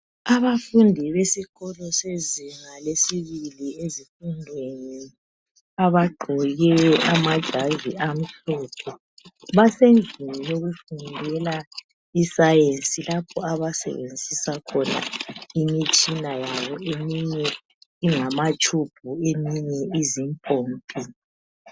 Abafundi besikolo sezinga lesibili ezifundweni abagqoke amajazi amhlophe basendlini yokufundela isayensi lapho abasebenzisa khona imitshina yabo. Eminye ingamatshubhu eminye izimpompi.